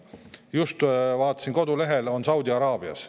Just vaatasin kodulehelt, ta on Saudi Araabias.